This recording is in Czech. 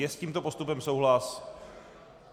Je s tímto postupem souhlas?